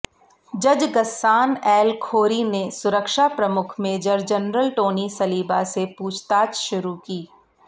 जज Ghassan el Khoury ने सुरक्षा प्रमुख मेजर जनरल टोनी सलीबा से पूछताछ शुरू की